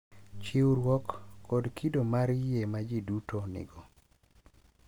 Chiwruok, kod kido mar yie ma ji duto nigo,